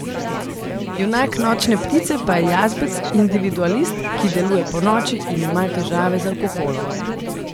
Junak Nočne ptice pa je jazbec, individualist, ki deluje ponoči in ima težave z alkoholom.